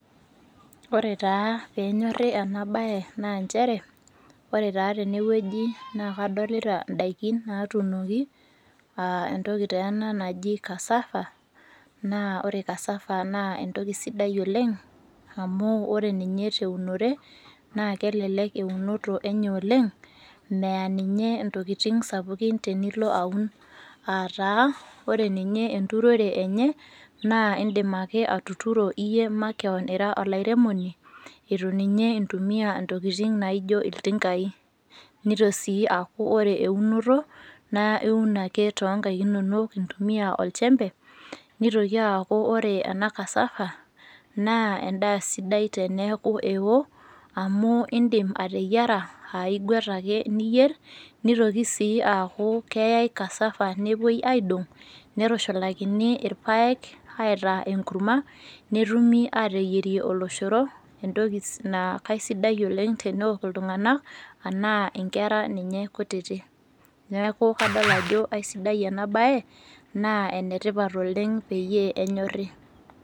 Ore taa peenyorri enabaye naanchere ore taa tenewueji naa kadolita indaiki naatumoki [aa] entoki teena naji cassava naa ore cassava naa entoki sidai oleng' amu ore ninye teunore naakelelek eunoto enye oleng' meya ninye intokitin sapukin tenilo aun aataa ore ninye enturore enye naa indim ake atuturo iyie makewon ira olairemoni etu ninye intumia intokitin naaijo iltingai. Nito sii aaku ore eunoto naa iun ake toonkaik inono intumia olchembe nitoki aaku ore ena  cassava naa endaa sidai teneaku ewo amu indim ateyiera aaiguat ake niyierr neitoki sii aaku keyai  cassava nepuoi aaidong' neitusholakini ilpaek aitaa enkurma netumi ateyierie oloshoro entoki naa kaisidai oleng' teneok iltung'ana anaa inkera ninye kutiti. Neaku kadol ajo kaisidai enabaye naa enetipat oleng' peyie enyorri.